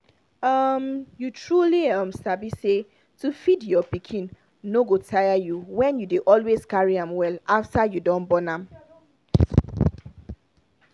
um you truly um sabi say to feed your pikin no go tire you when you dey always carry am well after you don born am